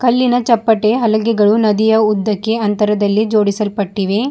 ಇಲ್ಲಿನ ಚಪ್ಪಟೆ ಹಲಗೆಗಳು ನದಿಯ ಉದ್ದಕ್ಕೆ ಅಂತರದಲ್ಲಿ ಜೋಡಿಸಲ್ಪಟ್ಟಿವೆ.